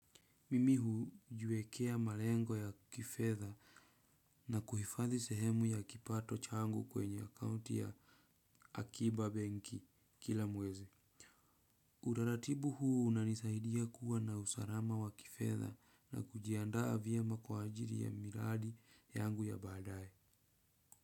Mimi hujiwekea malengo ya kifedha na kuhifadhi sehemu ya kipato changu kwenye account ya akiba benki kila mwezi. Utaratibu huu unanisaidia kuwa na usalama wa kifedha na kujiandaa vyema kwa ajili ya miradi yangu ya baadae.